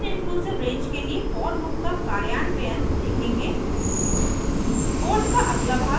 आगे हम noninclusive range के लिए for लूप का कार्यान्वयन देखेंगे